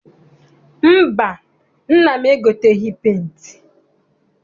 Mba, nna m egoteghị penti.